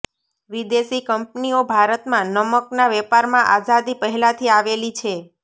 વિદેશી કંપનીઓ ભારતમાં નમકના વેપારમાં આઝાદી પહેલાથી આવેલી છે